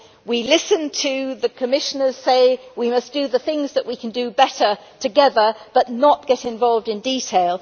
We listened to the Commissioner say we must do the things that we can do better together, but not get involved in detail.